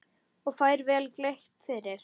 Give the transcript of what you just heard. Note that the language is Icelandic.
Og fær vel greitt fyrir.